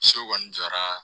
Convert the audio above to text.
So kɔni jɔra